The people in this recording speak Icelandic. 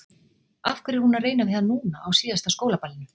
Af hverju er hún að reyna við hann núna, á síðasta skólaballinu?